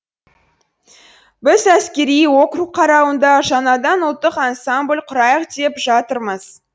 біз әскери округ қарауында жаңадан ұлттық ансамбль құрайық деп жатырмыз